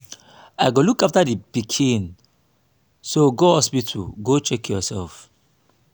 i go look after the pikin so go hospital go check yourself